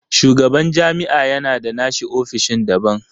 Shugaban jami'a ya na da nashi ofishin daban.